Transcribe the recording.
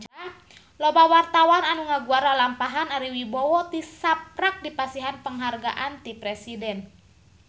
Loba wartawan anu ngaguar lalampahan Ari Wibowo tisaprak dipasihan panghargaan ti Presiden